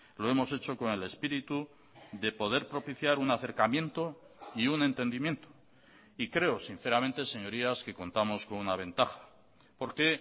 lo hemos hecho con el espíritu de poder propiciar un acercamiento y un entendimiento y creo sinceramente señorías que contamos con una ventaja porque